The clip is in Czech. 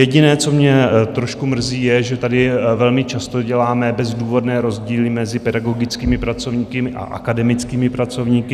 Jediné, co mě trošku mrzí, je, že tady velmi často děláme bezdůvodné rozdíly mezi pedagogickými pracovníky a akademickými pracovníky.